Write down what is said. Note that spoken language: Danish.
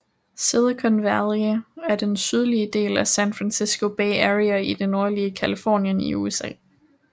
Silicon Valley er den sydlige del af San Francisco Bay Area i det nordlige Californien i USA